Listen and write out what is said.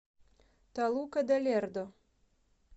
толука де лердо